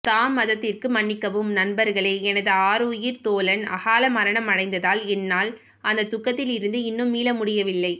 தாமதத்திற்கு மன்னிக்கவும் நண்பர்களே எனது ஆருயிர் தோழன் அகால மரணமடைந்ததால் என்னால் அந்த துக்கத்தில் இருந்து இன்னும் மீள முடியவில்லை